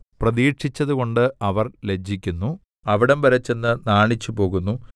പ്രതീക്ഷിച്ചതുകൊണ്ട് അവർ ലജ്ജിക്കുന്നു അവിടംവരെ ചെന്ന് നാണിച്ചു പോകുന്നു